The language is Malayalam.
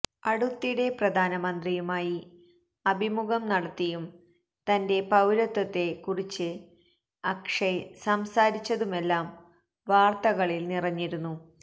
അടുത്തിടെ പ്രധാനമന്ത്രിയുമായി അഭിമുഖം നടത്തിയും തന്റെ പൌരത്വത്തെ കുറിച്ച് അക്ഷയ് സംസാരിച്ചതുമെല്ലാം വാര്ത്തകളില് നിറഞ്ഞിരുന്നു